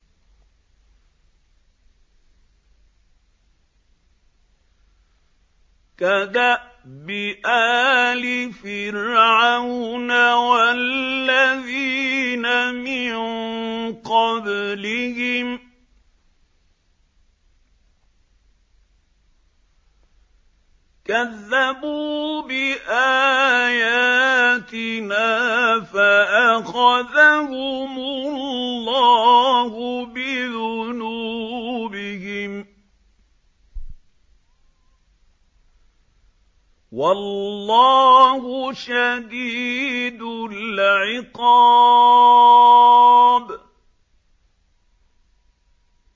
كَدَأْبِ آلِ فِرْعَوْنَ وَالَّذِينَ مِن قَبْلِهِمْ ۚ كَذَّبُوا بِآيَاتِنَا فَأَخَذَهُمُ اللَّهُ بِذُنُوبِهِمْ ۗ وَاللَّهُ شَدِيدُ الْعِقَابِ